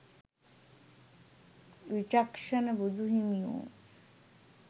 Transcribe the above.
විචක්ෂණ බුදුහිමියෝ